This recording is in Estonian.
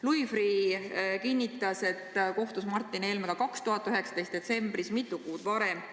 Louis Freeh kinnitas, et ta kohtus Martin Helmega 2019. aasta detsembris, mitu kuud varem.